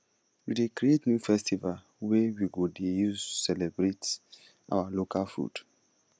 we dey create new festival wey we go dey use celebrate our local food